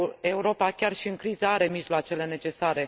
Europa, chiar și în criză, are mijloacele necesare.